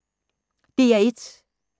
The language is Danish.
DR1